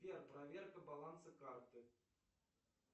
сбер проверка баланса карты